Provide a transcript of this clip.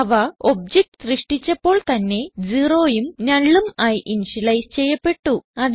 അവ ഒബ്ജക്ട് സൃഷ്ടിച്ചപ്പോൾ തന്നെ 0യും nullഉം ആയി ഇനിഷ്യലൈസ് ചെയ്യപ്പെട്ടു